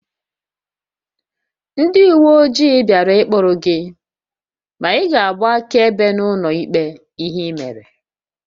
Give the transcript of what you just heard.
Ndị uwe ojii bịara ịkprụ gị ma ị ga-agba akaebe n'ụlọ ikpe ihe ị mere